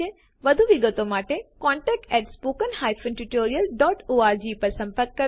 વધુ વિગતો માટેcontactspoken tutorialorg પર સંપર્ક કરો